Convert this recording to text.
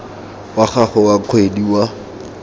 wa gago wa kgwedi wa